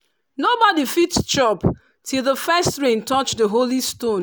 nobody fit chop till the first rain touch the holy stone